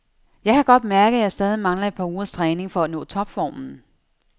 Jeg kan godt mærke, at jeg stadig mangler et par ugers træning for at nå topformen.